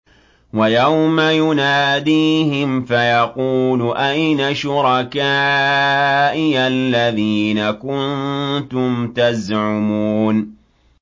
وَيَوْمَ يُنَادِيهِمْ فَيَقُولُ أَيْنَ شُرَكَائِيَ الَّذِينَ كُنتُمْ تَزْعُمُونَ